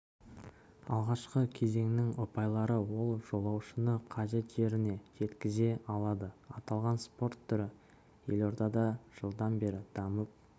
алғашқы кезеңнің ұпайлары ол жолаушыны қажет жеріне жеткізе алады аталған спорт түрі елордада жылдан бері дамып